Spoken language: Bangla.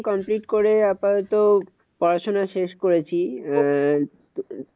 Complete করে আপাতত পড়াশোনা শেষ করেছি আহ